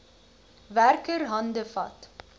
werker hande vat